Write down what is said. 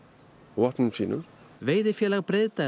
vopnum sínum veiðifélag